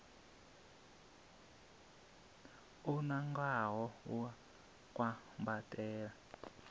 o nangwaho u a kwambatela